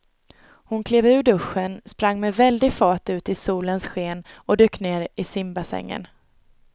Hon klev ur duschen, sprang med väldig fart ut i solens sken och dök ner i simbassängen.